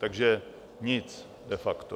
Takže nic de facto.